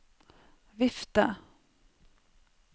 vifte